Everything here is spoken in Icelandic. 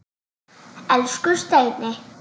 Elsku Steini.